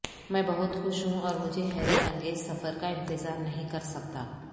میں بہت خوش ہوں اور مجھے حیرت انگیز سفر کا انتظار نہیں کر سکتا